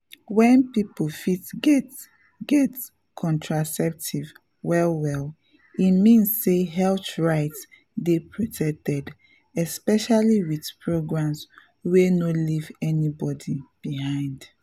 when people fit get get contraceptive well-well e mean say health right dey protected especially with programs wey no leave anybody behind.